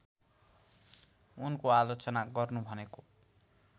उनको आलोचना गर्नु भनेको